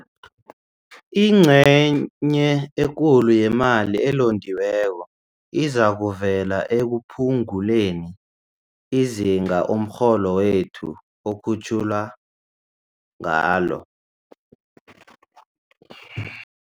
Ingcenye ekulu yemali elondiweko izakuvela ekuphunguleni izinga umrholo wethu okhutjhulwa ngalo.